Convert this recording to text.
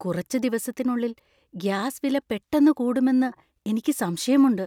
കുറച്ച് ദിവസത്തിനുള്ളിൽ ഗ്യാസ്‌ വില പെട്ടന്നു കൂടുമെന്നു എനിക്ക് സംശയമുണ്ട്.